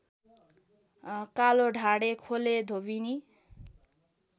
कालोढाडे खोलेधोबिनी